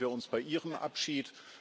Jetzt sehen wir uns bei Ihrem Abschied.